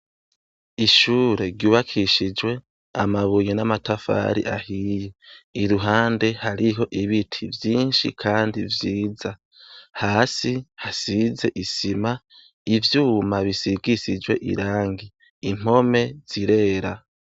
Ishure ryubakishijwe amabuye n' amatafari ahiye iruhande hariho ibiti vyinshi kandi vyiza hasi hasize isima ivyuma bisigishijwe irangi impome zirera.